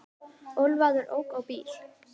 Ölvaður ók á bíl